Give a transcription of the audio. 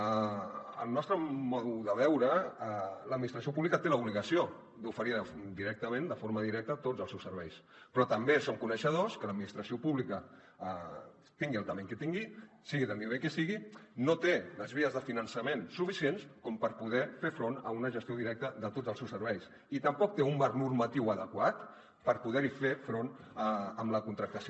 segons el nostre punt de vista l’administració pública té l’obligació d’oferir directament de forma directa tots els seus serveis però també som coneixedors que l’administració pública tingui la mida que tingui sigui del nivell que sigui no té les vies de finançament suficients com per poder fer front a una gestió directa de tots els seus serveis i tampoc té un marc normatiu adequat per poder hi fer front amb la contractació